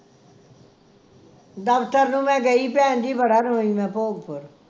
ਦਫਤਰ ਨੂੰ ਮੈਂ ਗਈ ਭੈਣ ਜੀ ਬੜਾ ਰੋਈ ਮੈਂ ਭੋਗਪੁਰ